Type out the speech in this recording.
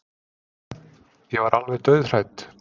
Ég varð alveg dauðhrædd.